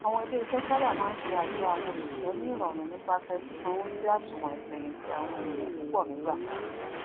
àwọn iléiṣẹ sábà máa sé àjọ àwọn òṣìṣẹ ní ìrọrùn nípasẹ sísanwó sí àsùwọn ìfẹyìntì àwọn ènìyàn púpọ nígbà kan